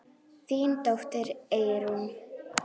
Þín dóttir, Eyrún.